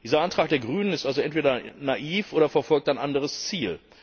Dieser Antrag der Grünen ist also entweder naiv oder verfolgt ein anderes Ziel.